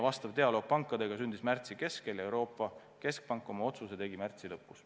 See dialoog pankadega sündis märtsi keskel ja Euroopa Keskpank tegi oma otsuse märtsi lõpus.